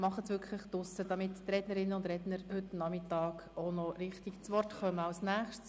Machen Sie dies draussen, damit die Rednerinnen und Redner richtig zu Wort kommen können.